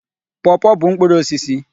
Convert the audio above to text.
Pọọpọọ bụ mkpụrụ osisi.